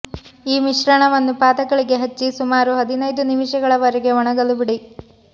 ಈ ಮಿಶ್ರಣವನ್ನು ಪಾದಗಳಿಗೆ ಹಚ್ಚಿ ಸುಮಾರು ಹದಿನೈದು ನಿಮಿಷಗಳವರೆಗೆ ಒಣಗಲು ಬಿಡಿ